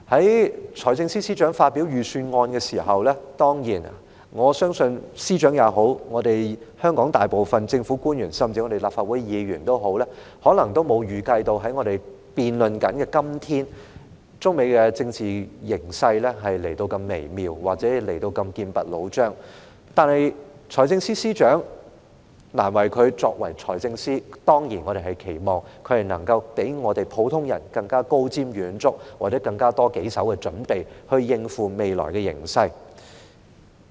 在財政司司長發表預算案時，我相信無論司長、香港大部分政府官員，甚至立法會議員也好，可能都沒預計到在我們進行辯論的今天，中美的政治形勢處於如此微妙或劍拔弩張的狀態，但財政司司長......難為他作為財政司司長，我們當然期望他能夠較普通人更高瞻遠矚，或有更多手的準備，以應付未來的形勢。